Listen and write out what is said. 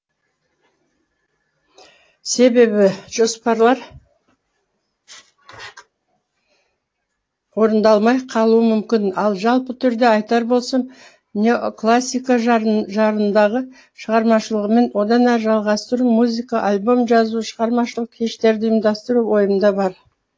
себебі жоспарлар орындалмай қалуы мүмкін ал жалпы түрде айтар болсам неоклассика жарындағы шығармашылығымды одан әрі жалғастыру музыка альбом жазу шығармашылық кештерді ұйымдастыру ойымда бар